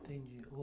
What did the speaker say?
Entendi.